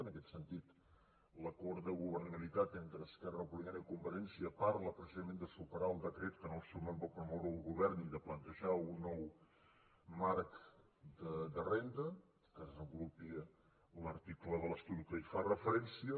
en aquest sentit l’acord de governabilitat entre esquerra republicana i convergència parla precisament de superar el decret que en el seu moment va promoure el govern i de plantejar un nou marc de renda que desenvolupi l’article de l’estatut que hi fa referència